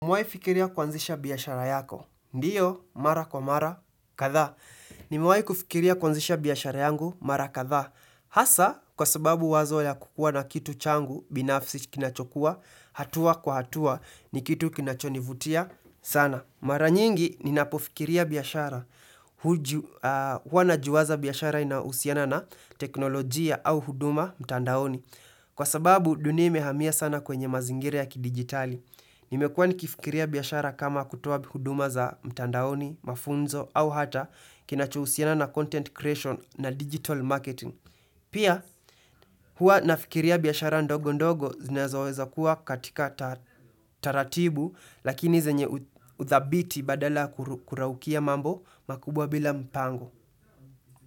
Umewahi fikiria kwanzisha biashara yako? Ndio, mara kwa mara, kadhaa. Nimewahi kufikiria kwanzisha biashara yangu, mara kadhaa. Hasa, kwa sababu wazo ya kukuwa na kitu changu, binafsi kinachokuwa, hatua kwa hatua, ni kitu kinachonivutia sana. Mara nyingi, ninapofikiria biashara. Huwa najiwaza biashara inayo husiana na teknolojia au huduma mtandaoni. Kwa sababu, dunia imehamia sana kwenye mazingira ya kidigitali. Nimekuwa nikifikiria biashara kama kutoa huduma za mtandaoni, mafunzo au hata kinacho husiana na content creation na digital marketing. Pia, huwa nafikiria biashara ndogo ndogo zinazo weza kuwa katika taratibu lakini zenye uthabiti badala kuraukia mambo makubwa bila mpango.